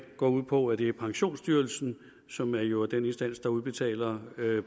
går ud på at vi pensionsstyrelsen som jo er den instans der udbetaler